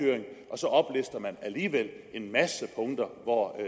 så alligevel en masse punkter hvor